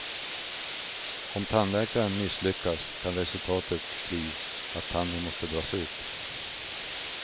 Om tandläkaren misslyckas kan resultatet bli att tanden måste dras ut.